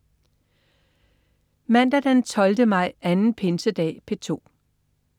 Mandag den 12. maj. Anden pinsedag - P2: